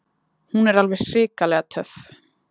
Hún er alveg hrikalega töff.